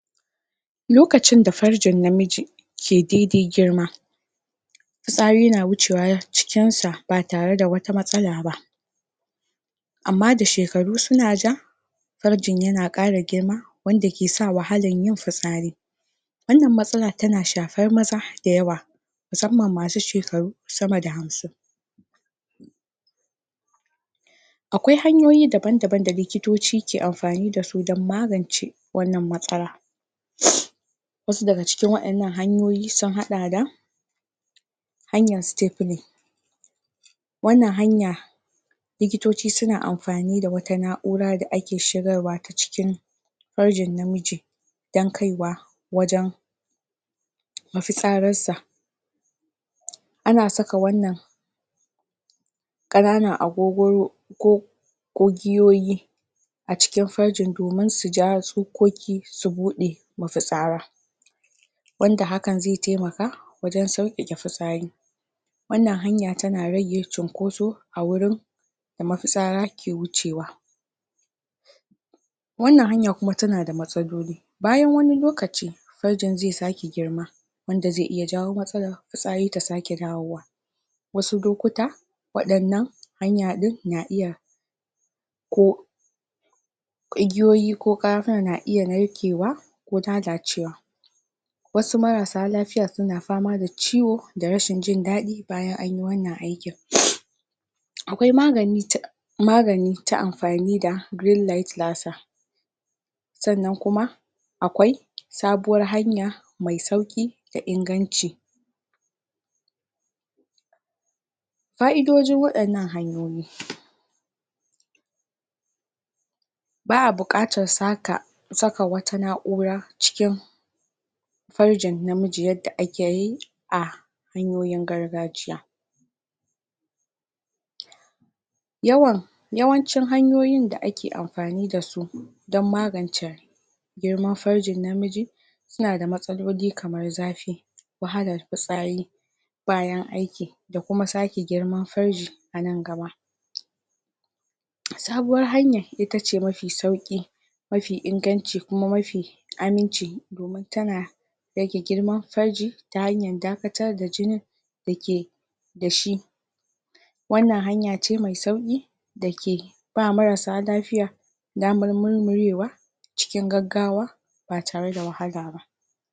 lokacin da fargin namiji ke daidai girma fitsari na wucewa cikin sa ba tare da wata matsala ba amman da shekaru suna ja fargin yana kara girma wanda ke sa wahalan yin fitsari wannnan matsalan tana shafar maza da yawa musamman masu shekaru sama da hamsin akwai hanyoyi daban daban da likitoci ke amfani dasu don magance wannan matsala? wasu daga cikin wadannan hanyoyi sun hada da hanayn stepping wannan hanya likitoci suna amfani da wata na'ura da ake shigarwa cikin fargin namiji dan kaiwa wajen ma fitsararsa ana saka wannan kananan agogoron ko ko giyoyi a cikin fargin domin su ja tsokoki su bude mafitsara wanda hakan zai taimaka wajen saukkake fitsari wannnan hanya tana rage cunkoso a wurin da mafitsara ke wucewa wannan hanya kuma tana da matsaloli bayan wani lokaci fargin zaisake girma wanda zai iya jawo matsalan fitsari ta sake dawowa wasu lukuta wadannnan hanya din na iya ko igiyoyi ko karafuna na iya narkewa ko lalacewa wasu marasa lafiya suna fama da ciwo da rashin jin dadi bayan anyi wannan aikin akwai magani ta magani ta amfani da green light lasa sannan kuma akwai sabuwar hanya mai mai sauki da inganci fa'idojin wadannan hanyoyi baa bukatarsu haka saka wata na'ura cikin farjin namiji yadda akeyi a hanyoyin gargajiya yawan yawancin hanyoyin da ake amfani dasu dan magance girman farjin namiji suna da matsaloli kamar zafi wahalar fitsari bayan aiki da kuma sake girman farji anan gaba sabuwar hanyan itace mafi sauki mafi inganci kuma mafi aminci domin tana rage girman farji ta hanyar dakatar da jini da ke dashi wannan hanya ce me sauki dake ba marasa lafiya damar murmurewa cikin gaggawa ba tare da wahala ba